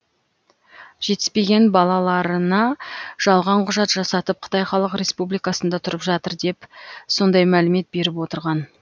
жетіспеген балаларына жалған құжат жасатып қытай халық республикасында тұрып жатыр деп сондай мәлімет беріп отырған